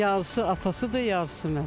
Yarısı atasıdır, yarısı mən.